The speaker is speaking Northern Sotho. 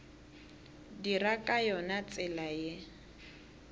dira ka yona tsela ye